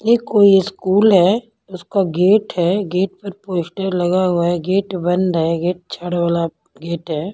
यह कोई स्कूल है उसका गेट है गेट पर पोस्टर लगा हुआ है गेट बंद है गेट अच्छा वाला गेट है।